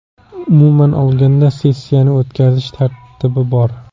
Umuman olganda, sessiyani o‘tkazish tartibi bor.